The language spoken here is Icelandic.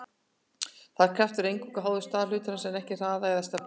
þessi kraftur er eingöngu háður stað hlutarins en ekki hraða eða stefnu